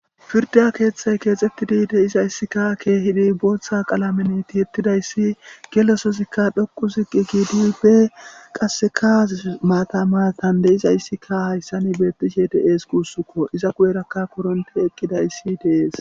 firda keeththay keexettidi deizayssikka keehidi booththa qaalamen ti ettidayssi gelesozikka dhoqu ziqi giidi pe qasseka maatamatan deyizayssikka hayssani beettishe de7ees kuussukko iza guyerakka koronte eqqidayssi dees